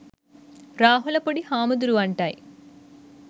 රාහුල පොඩි හාමුදුරුවන්ටයි.